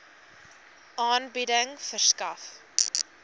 aanbieding verskaf